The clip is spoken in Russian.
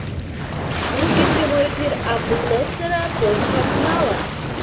вруби прямой эфир апл лестера против арсенала